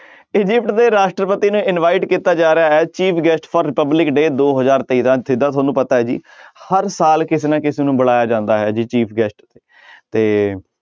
Egypt ਦੇ ਰਾਸ਼ਟਰਪਤੀ ਨੂੰ invite ਕੀਤਾ ਜਾ ਰਿਹਾ ਹੈ chief guest for republic day ਦੋ ਹਜ਼ਾਰ ਜਿੱਦਾਂ ਤੁਹਾਨੂੰ ਪਤਾ ਹੈ ਜੀ ਹਰ ਸਾਲ ਕਿਸੇ ਨਾ ਕਿਸੇ ਨੂੰ ਬੁਲਾਇਆ ਜਾਂਦਾ as a chief guest ਤੇ